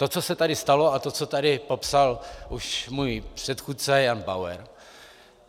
To, co se tady stalo, a to, co tady popsal už můj předchůdce Jan Bauer,